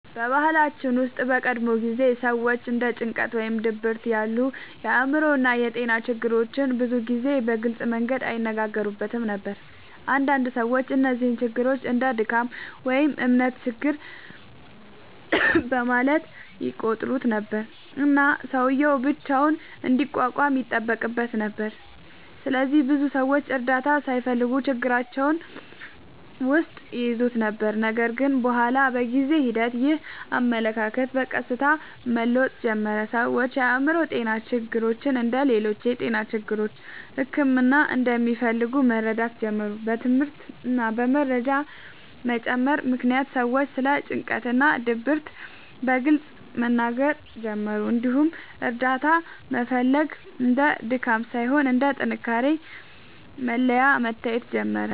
በባህላችን ውስጥ በቀድሞ ጊዜ ሰዎች እንደ ጭንቀት ወይም ድብርት ያሉ የአእምሮ ጤና ችግሮችን ብዙ ጊዜ በግልጽ መንገድ አይነጋገሩበትም ነበር። አንዳንድ ሰዎች እነዚህን ችግሮች እንደ “ድካም” ወይም “እምነት ችግር” በማለት ይቆጥሩ ነበር፣ እና ሰውዬው ብቻውን እንዲቋቋም ይጠበቅበት ነበር። ስለዚህ ብዙ ሰዎች እርዳታ ሳይፈልጉ ችግራቸውን ውስጥ ይይዙ ነበር። ነገር ግን በኋላ በጊዜ ሂደት ይህ አመለካከት በቀስታ መለወጥ ጀመረ። ሰዎች የአእምሮ ጤና ችግሮች እንደ ሌሎች የጤና ችግሮች ሕክምና እንደሚፈልጉ መረዳት ጀመሩ። በትምህርት እና በመረጃ መጨመር ምክንያት ሰዎች ስለ ጭንቀት እና ድብርት በግልጽ መናገር ጀመሩ፣ እንዲሁም እርዳታ መፈለግ እንደ ድካም ሳይሆን እንደ ጥንካሬ መለያ መታየት ጀመረ።